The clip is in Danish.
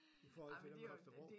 I forhold til i Holstebro